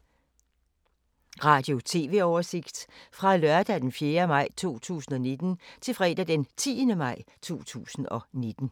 Radio/TV oversigt fra lørdag d. 4. maj 2019 til fredag d. 10. maj 2019